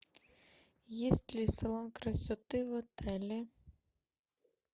есть ли салон красоты в отеле